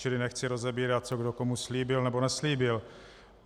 Čili nechci rozebírat, co kdo komu slíbil nebo neslíbil.